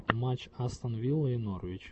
матч астон вилла и норвич